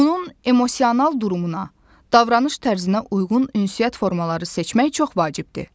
onun emosional durumuna, davranış tərzinə uyğun ünsiyyət formaları seçmək çox vacibdir.